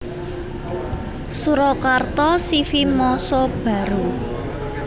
Surakarta C V Massa Baru